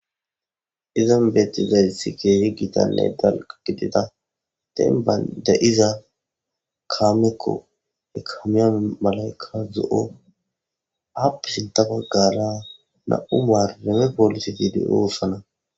izan beetizayssi keehi giitanne dal gidida den baynde iza kaamekko ekamiyame malayka zo7o haapisin ta baggara na7u maar reme poolisi tiidi oossana